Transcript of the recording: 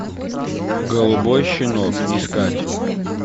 голубой щенок искать